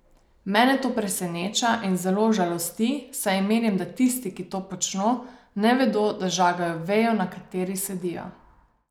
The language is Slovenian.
Mene to preseneča in zelo žalosti, saj menim, da tisti, ki to počno, ne vedo, da žagajo vejo, na kateri sedijo.